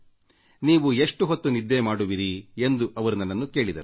ನೀವು ಎಷ್ಟು ಹೊತ್ತು ನಿದ್ದೆ ಮಾಡುವಿರಿ ಎಂದು ಅವರು ನನ್ನನ್ನು ಕೇಳಿದರು